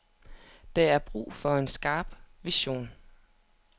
Der er brug for en skarp vision.